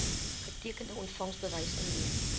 getekende ontvangsbewys indien